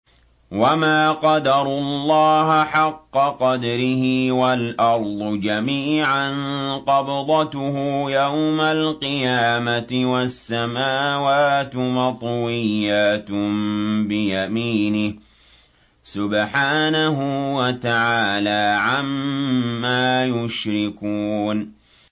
وَمَا قَدَرُوا اللَّهَ حَقَّ قَدْرِهِ وَالْأَرْضُ جَمِيعًا قَبْضَتُهُ يَوْمَ الْقِيَامَةِ وَالسَّمَاوَاتُ مَطْوِيَّاتٌ بِيَمِينِهِ ۚ سُبْحَانَهُ وَتَعَالَىٰ عَمَّا يُشْرِكُونَ